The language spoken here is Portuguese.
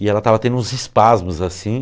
E ela estava tendo uns espasmos, assim.